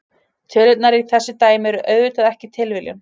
Tölurnar í þessu dæmi eru auðvitað ekki tilviljun.